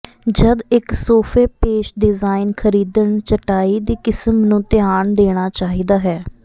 ਜਦ ਇੱਕ ਸੋਫੇ ਪੇਸ਼ ਡਿਜ਼ਾਇਨ ਖਰੀਦਣ ਚਟਾਈ ਦੀ ਕਿਸਮ ਨੂੰ ਧਿਆਨ ਦੇਣਾ ਚਾਹੀਦਾ ਹੈ